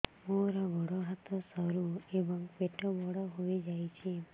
ମୋର ଗୋଡ ହାତ ସରୁ ଏବଂ ପେଟ ବଡ଼ ହୋଇଯାଇଛି